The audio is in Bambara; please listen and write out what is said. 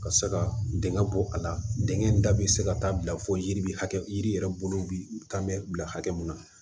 Ka se ka denŋɛ bɔ a la dingɛ in da bɛ se ka taa bila fo yiri hakɛ yiri yɛrɛ bolo bi taa mɛ bila hakɛ mun na